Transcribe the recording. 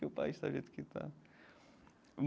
Que o país tá do jeito que tá.